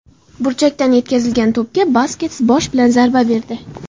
Burchakdan yetkazilgan to‘pga Buskets bosh bilan zarba berdi.